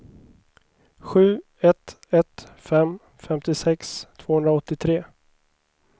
sju ett ett fem femtiosex tvåhundraåttiotre